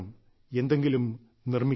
എന്തെങ്കിലും നിർമ്മിക്കണം